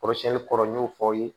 Kɔrɔsiyɛnni kɔrɔ n y'o fɔ aw ye